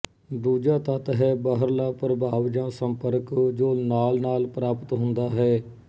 ਦੂਜਾ ਤੱਤ ਹੈ ਬਾਹਰਲਾ ਪ੍ਰਭਾਵ ਜਾਂ ਸੰਪਰਕ ਜੋ ਨਾਲਨਾਲ ਪ੍ਰਾਪਤ ਹੁੰਦਾ ਹੈ